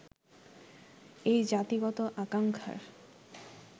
এই জাতিগত আকাঙ্খার